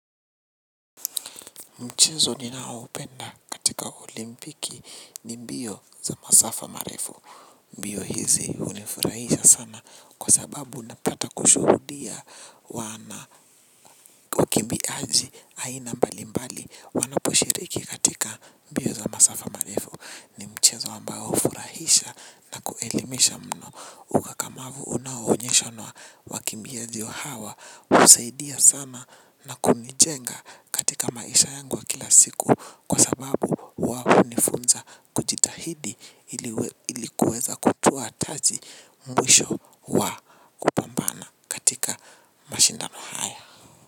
Mchezo ninao upenda katika olimpiki ni mbio za masafa marefu. Mbio hizi hunifurahisha sana kwa sababu unapata kushuhudia wana wakimbi aji aina mbali mbali. Wanaposhiriki katika mbio za masafa marefu ni mchezo ambayo hufurahisha na kuelimisha mno. Ukakamavu unaoonyesha nwa wakimbiaji hawa husaidia sana na kunijenga katika maisha yangu wa kila siku kwa sababu huwa hunifunza kujitahidi ilikuweza kutoa taji mwisho wa.